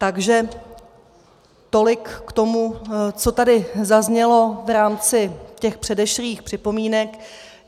Takže tolik k tomu, co tady zaznělo v rámci těch předešlých připomínek.